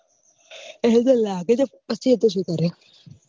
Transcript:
લાગે તો પછી શું કરે